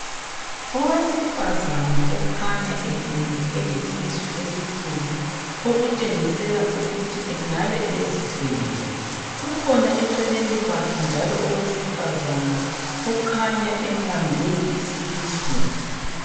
Owesifazana okhanya elele elesisu esikhulu okutshengisela ukuthi engabe ezithwele kukhona eceleni kwakhe njalo owesifazana okhanya embambe isisu.